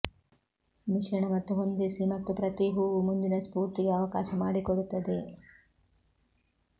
ಮಿಶ್ರಣ ಮತ್ತು ಹೊಂದಿಸಿ ಮತ್ತು ಪ್ರತಿ ಹೂವು ಮುಂದಿನ ಸ್ಫೂರ್ತಿಗೆ ಅವಕಾಶ ಮಾಡಿಕೊಡುತ್ತದೆ